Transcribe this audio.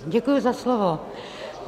Děkuji za slovo.